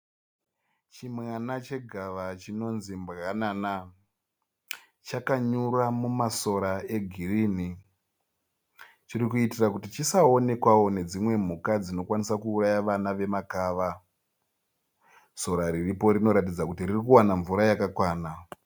Chimwana chegava chinonzi mbwanana. Chakanyura mumasora e girinhi, chiri kuitira kuti chisaonekwa nedzimwe mhuka dzinokwanisa kuuraya vana vemakava. Sora riripo rinoratidza kuti ririkuona mvura yakakwana.